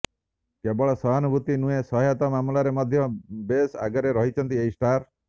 କେବଳ ସାହନୁଭୂତି ନୁହେଁ ସହାୟତା ମାମଲାରେ ମଧ୍ୟ ବେଶ ଆଗରେ ରହିଛନ୍ତି ଏହି ଷ୍ଟାର